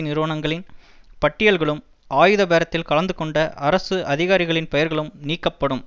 நிறுவனங்களின் பட்டியல்களும் ஆயுத பேரத்தில் கலந்துகொண்ட அரசு அதிகாரிகளின் பெயர்களும் நீக்கப்படும்